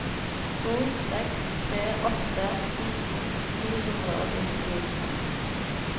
to seks tre åtte nitten ni hundre og syttito